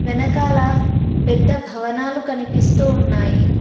వెనకాల పెద్ద భవనాలు కనిపిస్తూ ఉన్నాయి.